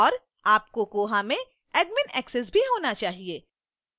और आपको koha में admin access भी होना चाहिए